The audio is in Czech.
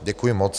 Děkuji moc.